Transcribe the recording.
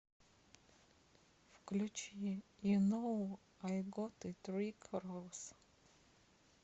включи ю ноу ай гот ит рик рос